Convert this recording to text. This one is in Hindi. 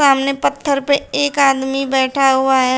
सामने पत्थर पे एक आदमी बैठा हुआ है।